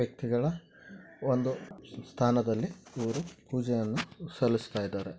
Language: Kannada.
ಒಂದು ಸ್ಥಾನದಲ್ಲಿ ಪೂಜೆ ಸಲ್ಲಿಸುತ್ತಿದ್ದಾರೆ.